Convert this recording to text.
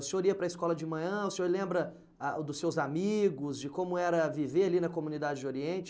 O senhor ia para a escola de manhã, o senhor lembra ah o dos seus amigos, de como era viver ali na comunidade Oriente?